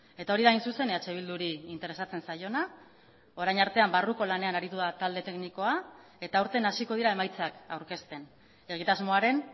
eta hori da hain zuzen eh bilduri interesatzen zaiona orain artean barruko lanean aritu da talde teknikoa eta aurten hasiko dira emaitzak aurkezten egitasmoaren